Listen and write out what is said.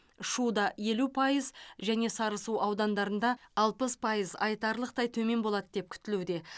шуда елу пайыз және сарысу аудандарында алпыс пайыз айтарлықтай төмен болады деп күтілуде